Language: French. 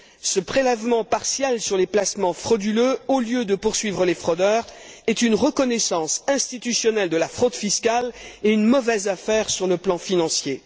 Ce prélèvement partiel sur les placements frauduleux, au lieu de poursuivre les fraudeurs, est une reconnaissance institutionnelle de la fraude fiscale et une mauvaise affaire sur le plan financier.